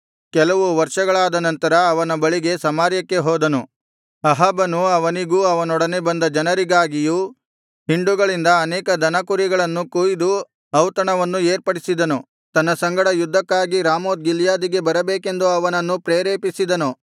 ಕೆಲವು ವರ್ಷಗಳಾದ ನಂತರ ಅವನ ಬಳಿಗೆ ಸಮಾರ್ಯಕ್ಕೆ ಹೋದನು ಅಹಾಬನು ಅವನಿಗೂ ಅವನೊಡನೆ ಬಂದ ಜನರಿಗಾಗಿಯೂ ಹಿಂಡುಗಳಿಂದ ಅನೇಕ ದನಕುರಿಗಳನ್ನು ಕೊಯ್ದು ಔತಣವನ್ನು ಏರ್ಪಡಿಸಿದನು ತನ್ನ ಸಂಗಡ ಯುದ್ಧಕ್ಕಾಗಿ ರಾಮೋತ್ ಗಿಲ್ಯಾದಿಗೆ ಬರಬೇಕೆಂದು ಅವನನ್ನು ಪ್ರೇರೇಪಿಸಿದನು